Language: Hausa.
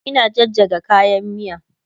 Ina jajjaga kayan miya